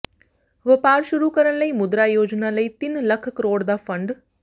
ਵਪਾਰ ਸ਼ੁਰੂ ਕਰਨ ਲਈ ਮੁਦਰਾ ਯੋਜਨਾ ਲਈ ਤਿੰਨ ਲੱਖ ਕਰੋੜ ਦਾ ਫੰਡ